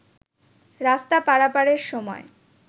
রাস্তা পারাপারের সময়